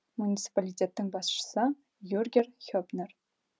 муниципалитеттің басшысы юргер хеппнер